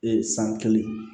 san kelen